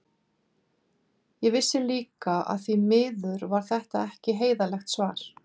Ég vissi líka að því miður var þetta ekki heiðarlegt svar.